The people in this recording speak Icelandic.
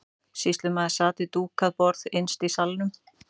Sýslumaður sat við dúkað borð innst í salnum.